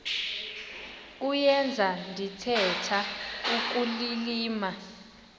kuyenza ndithetha ukulilima